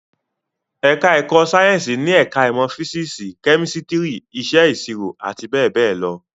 Ẹ̀ká ẹ̀kọ́ Sáyẹ̀nsì ni ẹ̀ká ìmọ̀ físísì, kẹ́mísítírì, Iṣẹ́ ìṣirò àti bẹ́ẹ̀ bẹ́ẹ̀ lọ